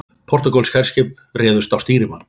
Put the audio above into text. Portúgölsk herskip réðust á stýrimann